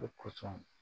O kosɔn